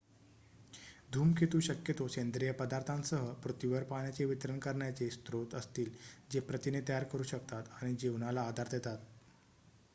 धूमकेतू शक्यतो सेंद्रिय पदार्थांसह पृथ्वीवर पाण्याचे वितरण करण्यारे स्रोत असतील जे प्रथिने तयार करू शकतात आणि जीवनाला आधार देतात